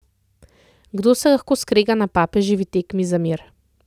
Kdo se lahko skrega na papeževi tekmi za mir?